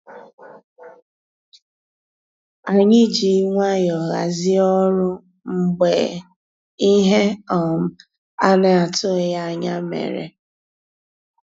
Ànyị́ jì nwayọ́ọ̀ hàzíé ọ́rụ́ mgbeé íhé um á ná-àtụ́ghị́ ànyá yá mérè.